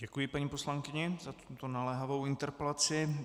Děkuji paní poslankyni za tuto naléhavou interpelaci.